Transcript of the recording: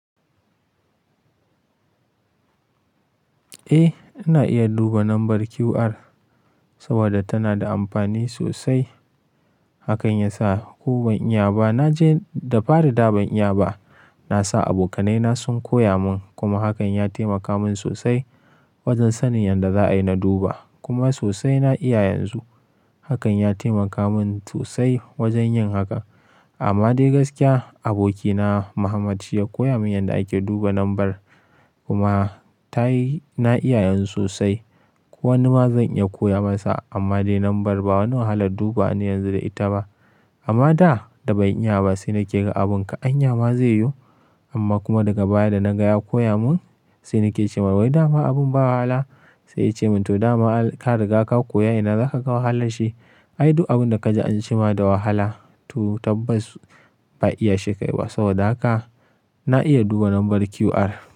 Eh, ina iya duba lambar QR saboda tana da amfani sosai. Hakan ya sa ko ban iya ba, na je da fari da ban iya ba. Na sa abokanai na sun koya mun kuma hakan ya taimaka mun sosai wajen sanin yadda za a yi na duba kuma sosai na iya yanzu. Hakan ya taimaka mun sosai wajen yin haka. Amma dai gaskiya, abokina Muhammad shi ya koya mun yadda ake duba lambar kuma tayi na iya yanzu sosai. Ko wani ma zan iya koya masa amma dai lambar ba wani wahalar dubawa ne yanzu da ita ba. Amma da, da ban iya ba sai na ke ga abun ka anya ma zai yiwu. Amma kuma daga baya da na ga ya koya mun, sai na ke ce wa wai da ma abun ba wahala. Sai ya ce mun to da ma ka riga ka koya ina za ka ga wahalar shi? Ai, duk abun da ka ji an ce ma da wahala to tabbas ba iya shi kai ba. Saboda haka na iya duba lambar QR.